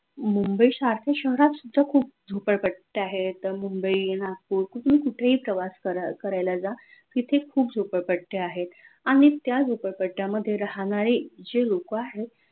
मुंबई सारख्या शहरात सुद्धा खूप झोपडपट्ट्या आहेत मुंबई नागपूर कुठून कुठेही प्रवास करायला जा तिथे खूप झोपडपट्ट्या आहेत आनि त्या झोपडपट्ट्यामध्ये राहनारे जे लोक आहेत